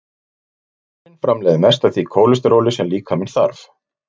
Lifrin framleiðir mest af því kólesteróli sem líkaminn þarf.